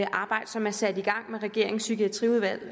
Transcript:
arbejde som er sat i gang med regeringens psykiatriudvalg og